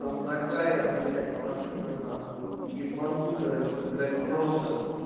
там такая блядь машина на хуй ебанутая что блять просто